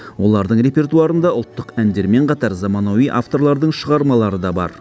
олардың репертуарында ұлттық әндермен қатар заманауи авторлардың шығармалары да бар